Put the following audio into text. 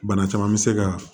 Bana caman bɛ se ka